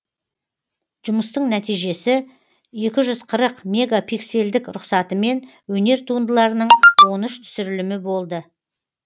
жұмыстың нәтижесі екі жүз қырық мегапиксельдік рұқсатымен өнер туындыларының он үш түсірілімі болды